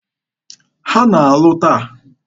Ha na-alụ taa.